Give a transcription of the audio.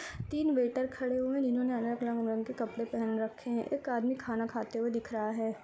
तीन वेटर खड़े हुए हैं। जिन्होंने अलग-अलग रंग के कपड़े पहन रखे हैं। एक आदमी खाना खाते हुए दिख रहा है।